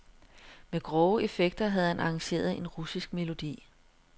Med grove effekter havde han arrangeret en russisk melodi.